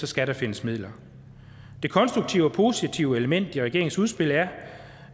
skal der findes midler det konstruktive og positive element i regeringens udspil er